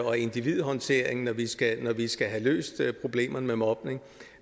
og individhåndteringen når vi skal skal have løst problemerne med mobning